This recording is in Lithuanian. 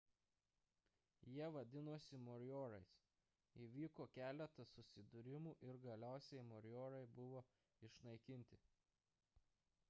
jie vadinosi morioriais įvyko keletas susidūrimų ir galiausiai morioriai buvo išnaikinti